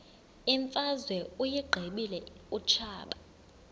imfazwe uyiqibile utshaba